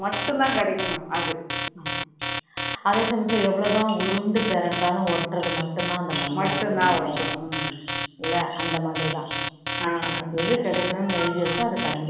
அதே சமயத்துல எவ்ளோ தான் உருண்டு பிரண்டாலும் ஒட்டுறது மட்டும் தான் அந்த மண்ணுல ஒட்டும் இல்ல அந்த மாதிரி தான் எது எது கிடைக்கணும்னு எழுதி இருக்கோ